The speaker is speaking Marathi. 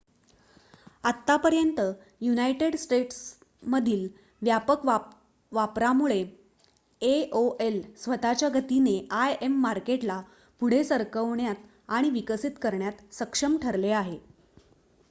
आतापर्यंत युनायटेड स्टेट्समधील व्यापक वापरामुळे aol स्वत:च्या गतीने im मार्केटला पुढे सरकवण्यात आणि विकसित करण्यात सक्षम ठरले आहे